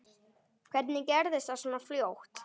Hvernig gerðist það svona fljótt?